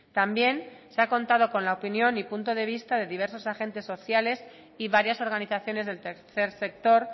también se ha contado con la opinión y punto de vista de diversos agentes sociales y varias organizaciones del tercer sector